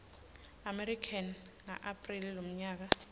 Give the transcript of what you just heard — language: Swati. america ngaapreli lomnyaka